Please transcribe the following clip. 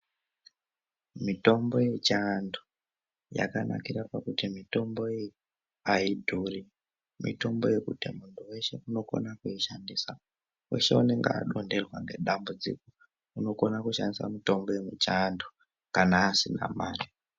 Mitombo yechivantu yakanakira pakuti mitombo iyi aidhuri, mitombo yekuti muntu weshe unogona kuishandisa, weshe anenge adonherwa ngedambudziko unokona kushandisa mitombo yemuchivantu kana asina mari.